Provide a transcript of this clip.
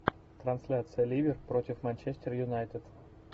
трансляция ливер против манчестер юнайтед